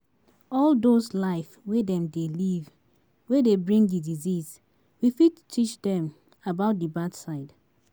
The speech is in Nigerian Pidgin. all those life wey dem dey live wey dey bring di disease, we fit teach dem about di bad side